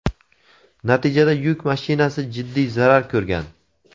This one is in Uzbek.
Natijada yuk mashinasi jiddiy zarar ko‘rgan.